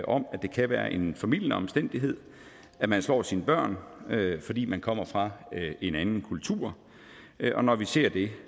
om at det kan være en formildende omstændighed at man slår sine børn fordi man kommer fra en anden kultur og når vi ser det